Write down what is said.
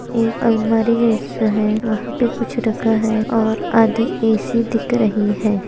ऐ अलमारी जैसा हैं वहाँ पे कुछ रखा हैं और आधी एसी दिख रही हैं।